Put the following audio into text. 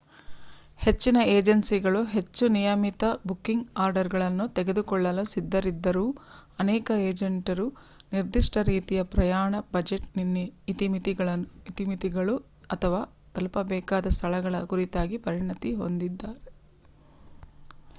ಹೆಚ್ಚಿನ ಏಜೆನ್ಸಿಗಳು ಹೆಚ್ಚು ನಿಯಮಿತ ಬುಕಿಂಗ್ ಆರ್ಡರ್‌ಗಳನ್ನು ತೆಗೆದುಕೊಳ್ಳಲು ಸಿದ್ಧರಿದ್ದರೂ ಅನೇಕ ಏಜೆಂಟರು ನಿರ್ದಿಷ್ಟ ರೀತಿಯ ಪ್ರಯಾಣ ಬಜೆಟ್ ಇತಿಮಿತಿಗಳು ಅಥವಾ ತಲುಪಬೇಕಾದ ಸ್ಥಳಗಳ ಕುರಿತಾಗಿ ಪರಿಣತಿ ಹೊಂದಿರುತ್ತಾರೆ